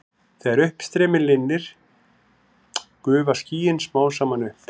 Þegar uppstreymi linnir gufa skýin smám saman upp.